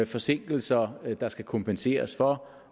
forsinkelser der skal kompenseres for